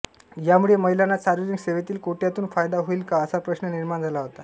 यामुळे महिलांना सार्वजनिक सेवेतील कोट्यातून फायदा होईल का असा प्रश्न निर्माण झाला होता